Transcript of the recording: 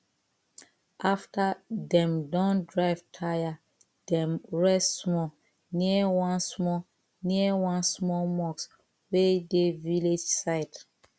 after dem don drive tire dem rest small near one small near one small mosque wey dey village side